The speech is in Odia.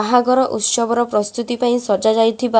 ବାହାଘର ଉତ୍ସବର ପ୍ରସ୍ତୁତି ପାଇଁ ସଜା ଯାଇଥିବା--